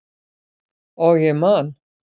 Og ég man.